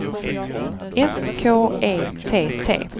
S K E T T